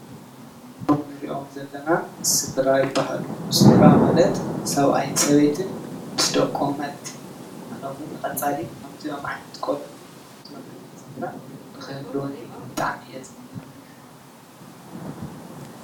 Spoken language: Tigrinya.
እዞም እንሪኦም ዘለና ስድራ ይባሃሉ፡፡ ስድራ ማለት ሰብኣይን ሰበይትን ምስ ደቆም ማለት እዩ፡፡ ኣነ እውን ንቀፃሊ ከምዚኦም ዓይነት ቆልዑትን ከምዚኦም ዓይነት ስድራን ንክህልወኒ ብጣዕሚ እየ ዝምነ፡፡